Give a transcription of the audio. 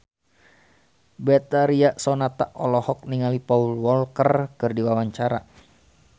Betharia Sonata olohok ningali Paul Walker keur diwawancara